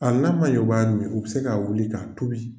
Hali n'a man ɲɛ o b'a min u bɛ se ka wuli ka tobi.